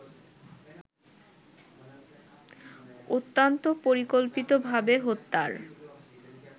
অত্যন্ত পরিকল্পিতভাবে হত্যার